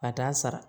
A t'a sara